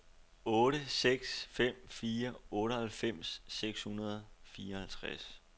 otte seks fem fire otteoghalvfems seks hundrede og fireoghalvtreds